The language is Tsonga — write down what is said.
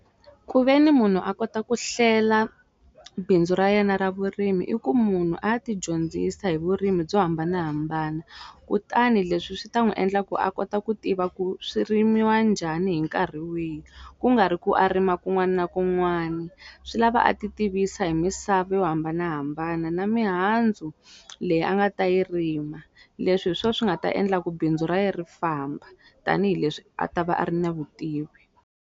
Ku ve ni munhu a kota ku hlela bindzu ra yena ra vurimi i ku munhu a ya ti dyondzisa hi vurimi byo hambanahambana kutani leswi swi ta n'wi endla ku a kota ku tiva ku swi rimiwa njhani hi nkarhi wihi ku nga ri ku a rima kun'wani na kun'wani swi lava a ti tivisa hi misava yo hambanahambana na mihandzu leyi a nga ta yi rima leswi hi swo swi nga ta endla ku bindzu ra ye ri famba tanihileswi a ta va a ri na vutivi.